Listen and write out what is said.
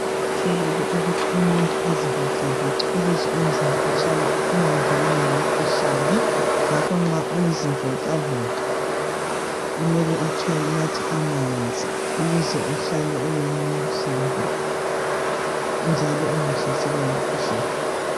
Kuqakathekile ukuthi umuntu azivoxa voxe ukuze umzimba ungangenwa yimikhuhlane, ngakho nxa uzivoxa voxa kumele unathe amanzi ukuze uhlale ulomzimba njalo ungahlaselwa yimikhuhlane.